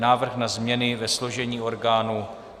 Návrh na změny ve složení orgánů